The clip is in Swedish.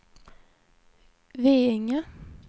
Veinge